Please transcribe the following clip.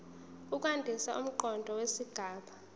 ukwandisa umqondo wesigaba